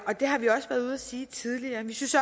og det har vi også været ude at sige tidligere vi synes